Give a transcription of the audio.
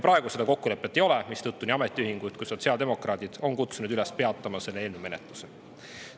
Praegu seda kokkulepet ei ole, mistõttu nii ametiühingud kui ka sotsiaaldemokraadid on kutsunud üles peatama selle eelnõu menetlust.